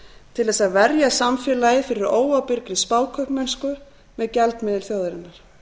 til þess að verja samfélagið fyrir óábyrgri spákaupmennslu með gjaldmiðil þjóðarinnar